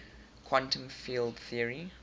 quantum field theory